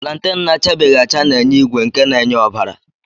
Planten na-achabeghi acha na-enye ígwè nke na-enye ọbara.